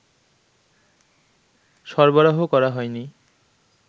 সরবরাহ করা হয়নি